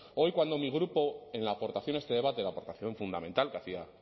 hoy cuando mi grupo en la aportación a este debate la aportación fundamental que hacía